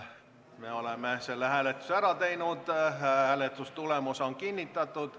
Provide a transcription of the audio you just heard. Me oleme selle hääletuse ära teinud, hääletustulemused on kinnitatud.